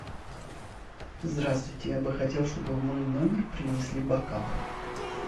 здравствуйте я бы хотел чтобы в мой номер принесли бокалы